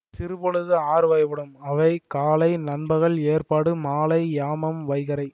சிறுபொழுது ஆறுவகைப்படும் அவை காலை நண்பகல் எற்பாடு மாலை யாமம் வைகறை